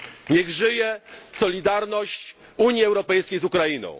Niech żyje solidarność Unii Europejskiej z Ukrainą!